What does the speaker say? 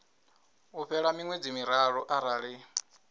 u fhela miṅwedzi miraru arali